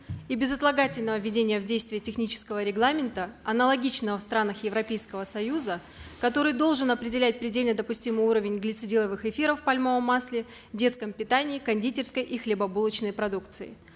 и безотлагательного введения в действие технического регламента аналогичного в странах европейского союза который должен определять предельно допустимый уровень глицидиловых эфиров в пальмовом масле в детском питании кондитерской и хлебобулочной продукции